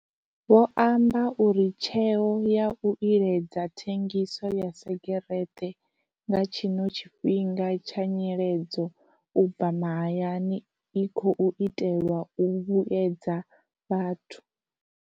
Vho amba uri tsheo ya u iledza thengiso ya segereṱe nga tshino tshifhinga tsha nyiledzo u bva mahayani i khou itelwa u vhuedza vhathu.